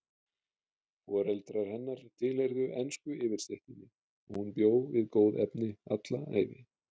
Foreldrar hennar tilheyrðu ensku yfirstéttinni og hún bjó við góð efni alla ævi.